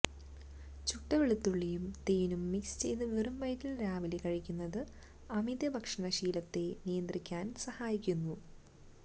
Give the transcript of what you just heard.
ചുട്ട വെളുത്തുള്ളിയും തേനും മിക്സ് ചെയ്ത് വെറും വയറ്റില് രാവിലെ കഴിക്കുന്നത് അമിത ഭക്ഷണശീലത്തെ നിയന്ത്രിക്കാന് സഹായിക്കുന്നു